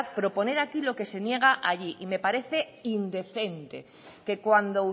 proponer aquí lo que se niega allí y me parece indecente que cuando